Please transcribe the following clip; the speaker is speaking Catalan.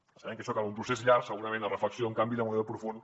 sabem que per a això cal un procés llarg segurament de reflexió un canvi de model profund